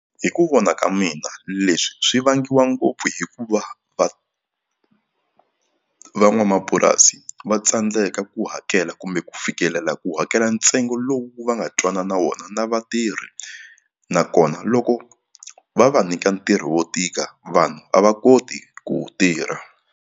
Hi ku vona ka mina leswi swi vangiwa ngopfu hikuva va van'wamapurasi va tsandzeka ku hakela kumbe ku fikelela ku hakela ntsengo lowu va nga twanana wona na vatirhi nakona loko va va nyika ntirho wo tika vanhu a va koti ku wu tirha.